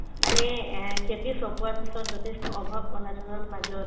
মানে এই এহ্ খেতি চপোৱাৰ পিছত যথেষ্ট অভাৱ-অনাটনৰ মাজত